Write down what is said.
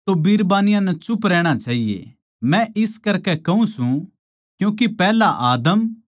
मै इस करकै कहूँ सूं क्यूँके पैहल्या आदम उसकै पाच्छै हव्वा बणाई गई